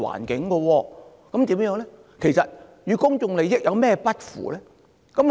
那麼，特首所做的與公眾利益有甚麼不符呢？